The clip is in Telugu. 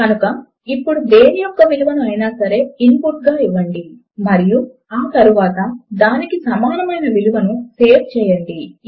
కనుక ఇప్పుడు దేని యొక్క విలువను అయినా సరే ఇన్పుట్ గా ఇవ్వండి మరియు ఆ తరువాత దానికి సమానము అయిన విలువను సేవ్ చేయండి